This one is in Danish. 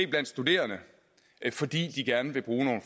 blandt studerende fordi de gerne vil bruge